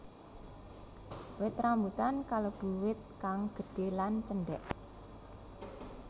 Wit rambutan kalebu wit kang gédhé lan cendhék